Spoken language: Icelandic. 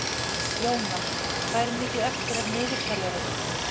Jónar, hvað er mikið eftir af niðurteljaranum?